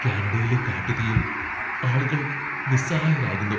കാനഡയിലെ കാട്ടുതീയിൽ ആളുകൾ നിസ്സഹായരാകുന്നു.